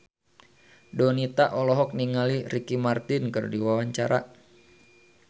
Donita olohok ningali Ricky Martin keur diwawancara